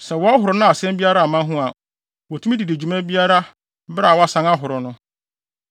Sɛ wɔhoro na asɛm biara amma ho a, wotumi de di dwuma biara bere a wɔasan ahoro no.”